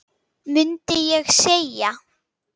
mundi ég segja.